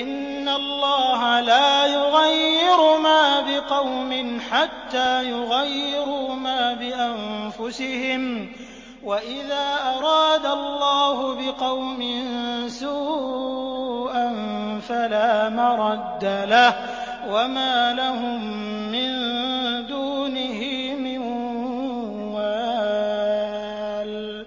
إِنَّ اللَّهَ لَا يُغَيِّرُ مَا بِقَوْمٍ حَتَّىٰ يُغَيِّرُوا مَا بِأَنفُسِهِمْ ۗ وَإِذَا أَرَادَ اللَّهُ بِقَوْمٍ سُوءًا فَلَا مَرَدَّ لَهُ ۚ وَمَا لَهُم مِّن دُونِهِ مِن وَالٍ